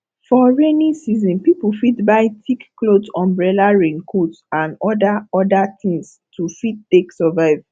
for rainy season pipo fit buy thick cloth umbrella rain coat and oda oda things to fit take survive